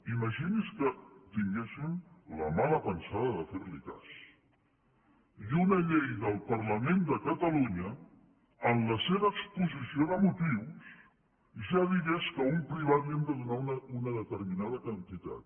imagini’s que tinguéssim la mala pensada de fer li cas i una llei del parlament de catalunya en la seva exposició de motius ja digués que a un privat li hem de donar una determinada quantitat